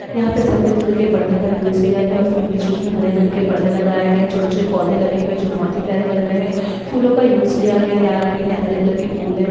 यहाँ पे सफेद कलर के परदे का यूज़ किया गया है उसपे बीच बीच में हरे कलर के परदे लगाए गए है छोटे छोटे पौदे लगे हुए है जो बहुत ही प्यारे लग रहे है फूलो का यूज़ किया गया लाल पीले हरे कलर के फूल है।